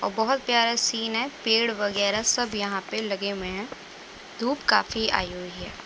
और बोहत प्‍यारा सीन है | पेड़ वगेरा सब यहां पे लगे हुए हैं। धूप काफी आई हुई है ।